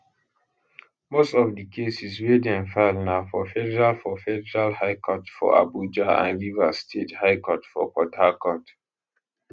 most of di cases wey dem file na for federal for federal high court for abuja and rivers state high court for port harcourt